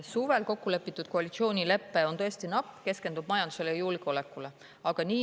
Suvel kokku lepitud koalitsioonilepe on tõesti napp, see keskendub majandusele ja julgeolekule.